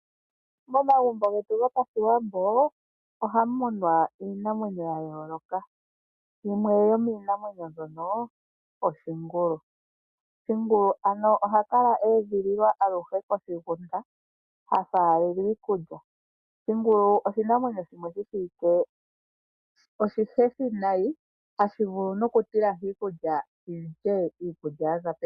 Momagumbo getu goPashiwambo ohamu munwa iinamwenyo ya yooloka yimwe yomiinamwenyo mbyono oshingulu. Oshingulu ano ohashi kala shedhililwa koshigunda hashi faalelwa iikulya. Oshingulu oshinamwenyo shimwe shi shiwike oshihethi nayi ohashi vulu oku tilahi iikulya shi lye iikulya mbyoka yaza pevi.